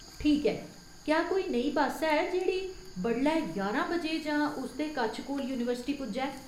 ठीक ऐ, क्या कोई नेही बस्स है जेह्ड़ी बडलै ञारां बजे जां उस दे कच्छ कोल यूनिवर्सिटी पुज्जै ?